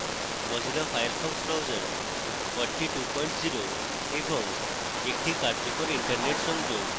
mozilla firefox browser 420 এবং একটি কার্যকর internet সংযোগ